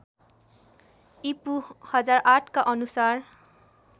ईपू १००८ का अनुसार